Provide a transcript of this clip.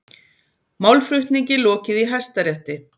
Málflutningi lokið í Hæstarétti